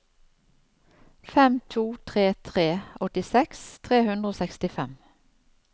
fem to tre tre åttiseks tre hundre og sekstifem